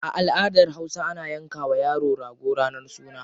A aladar hausa, ana yanka wa yaro rago ranar suna.